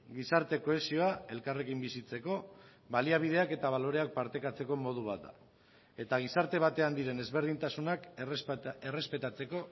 gizarte kohesioa elkarrekin bizitzeko baliabideak eta baloreak partekatzeko modu bat da eta gizarte batean diren ezberdintasunak errespetatzeko